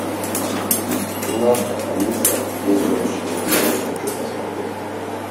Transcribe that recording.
киношка алиса здесь больше не живет хочу посмотреть